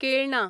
केळणा